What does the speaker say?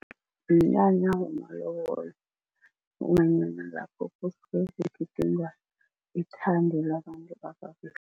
Mnyanya wamalobolo ngombanyana lapho kugidingwa ithando labantu ababili.